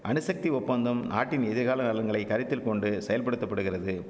அணுசக்தி ஒப்பந்தம் நாட்டின் எதிர்கால நலன்களை கருத்தில்கொண்டு செயல்படுத்த படுகிறது